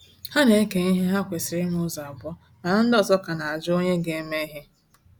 Ha na-eke ihe ha kwesịrị ime ụzọ abụọ mana ndị ọzọ ka na ajụ onye ga-eme ihe